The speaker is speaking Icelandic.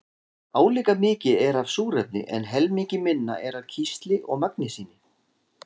Álíka mikið er af súrefni en helmingi minna er af kísli og magnesíni.